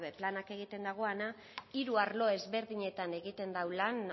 planak egiten dagoana hiru arlo ezberdinetan egiten dau lan